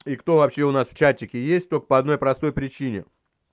и кто вообще у нас в чатике есть только по одной простой причине